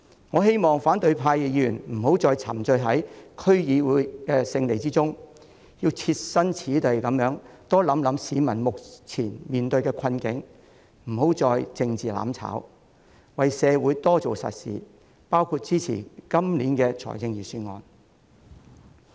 我希望反對派議員別再沉醉於區議會選舉的勝利中，要多設身處地考慮市民目前面對的困境，不要再作政治"攬炒"，為社會多做實事，包括支持今年的預算案。